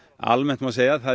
almennt má segja að það